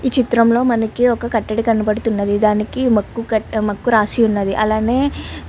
ఈ చిత్రం లో మనకి ఒక కట్టడి కనపడుతున్నది దానికి మక్కు కట్ ఆహ్ మక్కు రాసి ఉన్నది అలానే .